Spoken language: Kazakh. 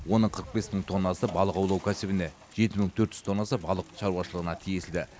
оның қырық бес мың тоннасы балық аулау кәсібіне жеті мың төрт жүз тоннасы балық шаруашылығына тиесілі